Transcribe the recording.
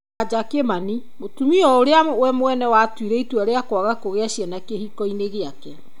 Wanja Kimani: Mũtumia ũrĩa we mwene atuire itua rĩa kwaga kũgĩa ciana kĩhiko-inĩ giake.